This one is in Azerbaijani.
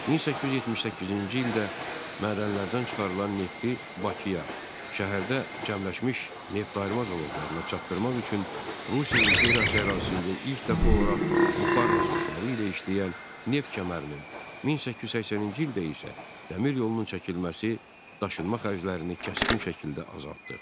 1878-ci ildə mədənlərdən çıxarılan nefti Bakıya, şəhərdə cəmləşmiş neftayırma zavodlarına çatdırmaq üçün Rusiya imperiyası ərazisində ilk dəfə olaraq buxar nasosları ilə işləyən neft kəmərinin, 1880-ci ildə isə dəmir yolunun çəkilməsi daşınma xərclərini kəskin şəkildə azaltdı.